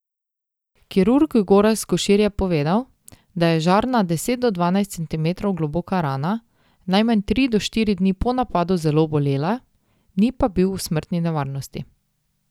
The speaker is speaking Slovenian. Kirurg Gorazd Košir je povedal, da je Žarna deset do dvanajst centimetrov globoka rana najmanj tri do štiri dni po napadu zelo bolela, ni pa bil v smrtni nevarnosti.